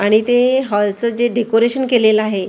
आणि ते हाॅल चं जे डेकोरेशन केलेलं आहे--